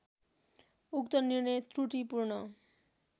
उक्त निर्णय त्रुटिपूर्ण